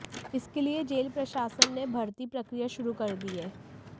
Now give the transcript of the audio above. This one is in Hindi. इसके लिए जेल प्रशासन ने भर्ती प्रक्रिया शुरू कर दी है